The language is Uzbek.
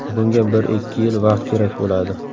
Bunga bir-ikki yil vaqt kerak bo‘ladi.